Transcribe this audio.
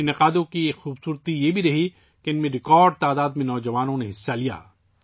ان تقریبات کی خوبی یہ رہی کہ نوجوانوں کی ریکارڈ تعداد نے ان میں شرکت کی